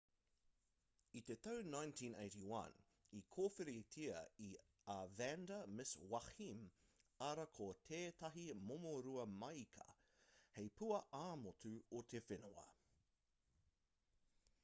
i te tau 1981 i kōwhiritia a vanda miss joaquim arā ko tētahi momorua māika hei pua ā-motu o te whenua